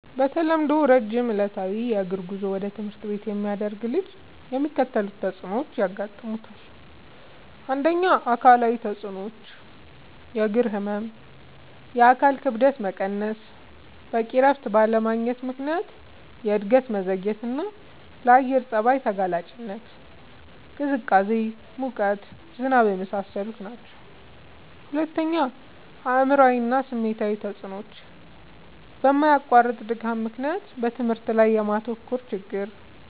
በተለምዶ ረጅም ዕለታዊ የእግር ጉዞ ወደ ትምህርት ቤት የሚያደርግ ልጅ የሚከተሉት ተጽዕኖዎች ያጋጥሙታል። ፩. አካላዊ ተጽዕኖዎች፦ · የእግር ህመም፣ የአካል ክብደት መቀነስ፣ በቂ እረፍት ባለማግኘት ምክንያት የእድገት መዘግየትና፣ ለአየር ጸባይ ተጋላጭነት (ቅዝቃዜ፣ ሙቀት፣ ዝናብ) የመሳሰሉት ናቸዉ። ፪. አእምሯዊ እና ስሜታዊ ተጽዕኖዎች፦ በማያቋርጥ ድካም ምክንያት በትምህርት ላይ የማተኮር ችግር፣